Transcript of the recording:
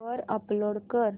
वर अपलोड कर